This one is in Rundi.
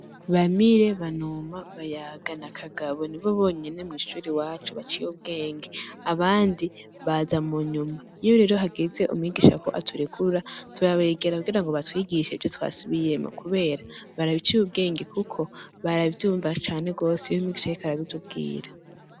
Bamire, Banuma, Bayaga na Kagabo; ni bo bonyene mw'ishure iwacu baciye ubwenge; abandi baza mu nyuma. Iyo rero hageze umwigisha ko aturekura, turabegera kugirango batwigishe ivyo twasubiyemwo, kubera baraciye ubwenge kuko, baravyumva cane rwose iyo umwigisha ariko arabitubwira.